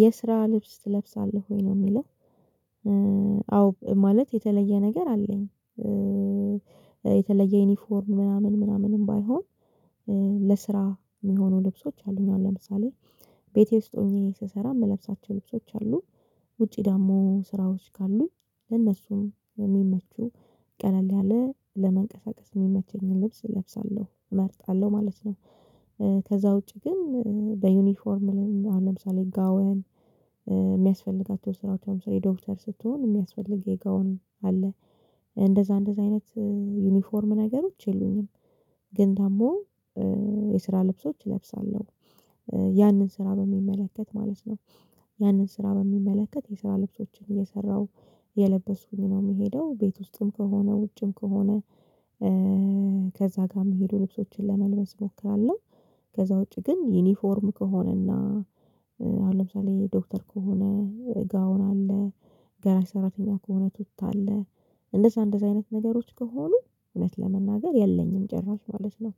የስራ ልብስ ትለብሳለህ ወይ ነው የሚለው? አዎ ማለት የተለየ ነገር አለኝ። የተለየ ዩኒፎርም ምናምን ምናምንም ባይሆን። ለስራ የሚሆኑ ልብሶች አሉኝ አሁን ለምሳሌ ቤቴ ውስጥ ሆኜ ስሰራ የምለብሳቸው ልብሶች አሉ ውጪ ደግሞ ስራዎች ካሉኝ ለነሱም የሚመቹ ቀለል ያለ ለመንቀሳቀስ የሚመቸኝን ልብስ እለብሳለሁ እመርጣለሁ ማለት ነው። ከዛ ውጪ ግን በዩኒፎርም ለምሳሌ ጋወን የሚያስፈልጋቸው ስራዎች አሁን ለምሳሌ ዶክተር ስትሆን የሚያስፈልግ የጋውን አለ እንደዛ እንደዛ አይነት ዩኒፎርም ነገሮች የሉኝም። ግን ደግሞ የስራ ልብሶች እለብሳለሁ ያንን ስራ በሚመለከት ማለት ነው። ያንን ስራ በሚመለከት የስራ ልብሶችን እየሰራሁ እየለበስኩኝ ነው የምሄደው ቤት ውስጥም ከሆነ ውጭም ከሆነ። ከዛ ጋር የሚሄዱ ልብሶችን ለመልበስ እሞክራለሁ። ከዛ ውጪ ግን ዩኒፎርም ከሆነና አሁን ለምሳሌ ዶክተር ከሆነ ጋውን አለ ጋራጅ ሰራተኛ ከሆነ ቱታ አለ እንደዛ እንደዛ አይነት ነገሮች ከሆኑ እውነት ለመናገር የለኝም ጭራሽ ማለት ነው።